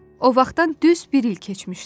O vaxtdan düz bir il keçmişdi.